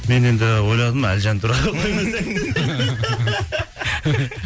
мен енді ойладым әлжан туралы қоймаса екен